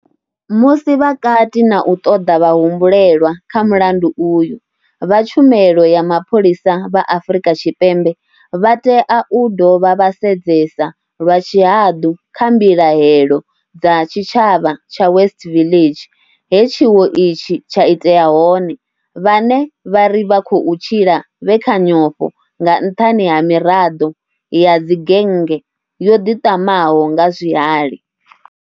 Musi vha kati na u ṱoḓa vhahumbulelwa kha mulandu uyu, vha tshumelo ya mapholisa vha Afrika Tshipembe vha tea u dovha vha sedzesa lwa tshihaḓu kha mbilahelo dza tshitshavha tsha West Village, he tshiwo itshi tsha itea hone, vhane vha ri vha khou tshila vhe kha nyofho nga nṱhani ha miraḓo ya dzigennge yo ḓiṱamaho nga zwihali.